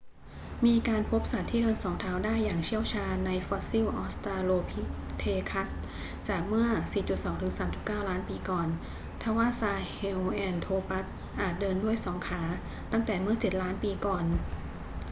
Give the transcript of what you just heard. มีการพบสัตว์ที่เดินสองเท้าได้อย่างเชี่ยวชาญในฟอสซิลออสตราโลพิเทคัสจากเมื่อ 4.2-3.9 ล้านปีก่อน ทว่าซาเฮลแอนโทรปัสอาจเดินด้วยสองขาตั้งแต่เมื่อเจ็ดล้านปีก่อน